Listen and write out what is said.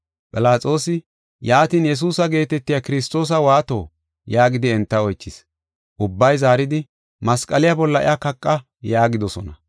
Philaxoosi, “Yaatin, Yesuusa geetetiya Kiristoosa waato?” yaagidi enta oychis. Ubbay zaaridi, “Masqaliya bolla iya kaqa” yaagidosona.